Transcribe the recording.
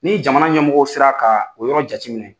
Ni jamana ɲɛmɔgɔw sera ka o yɔrɔ jate minɛ.